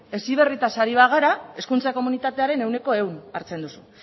heziberritaz gara hezkuntza komunitatearen ehuneko ehun hartzen duzu